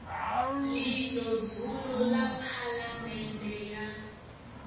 ḽino dzulo ḽa phaḽamennde ya